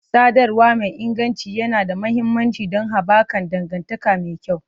Sadarwa mai inganci yana da mahimmanci don haɓaka dangantaka mai kyau.